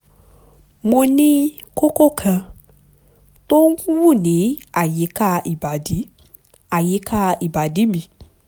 mo ní kókó kan tó ń wú ní àyíká ìbàdí àyíká ìbàdí mi